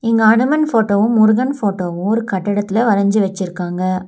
இங்க அனுமன் ஃபோட்டோவு முருகன் ஃபோட்டோவு ஒரு கட்டடத்துல வரஞ்சு வச்சுருக்காங்க.